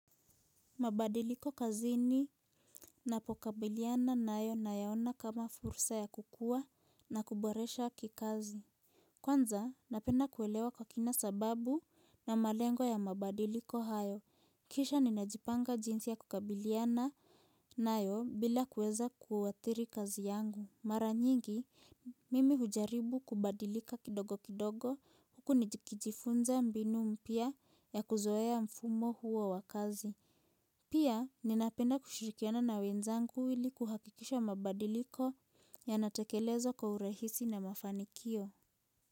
Mabadiliko kazini napokabiliana nayo nayaona kama fursa ya kukua na kuboresha kikazi. Kwanza napenda kuelewa kwa kina sababu na malengo ya mabadiliko hayo, kisha ninajipanga jinsi ya kukabiliana nayo bila kuweza kuathiri kazi yangu. Mara nyingi, mimi hujaribu kubadilika kidogo kidogo huku nijikijifunza mbinu mpya ya kuzoea mfumo huo wa kazi. Pia, ninapenda kushirikiana na wenzangu ili kuhakikisha mabadiliko yanatekelezwa kwa urahisi na mafanikio.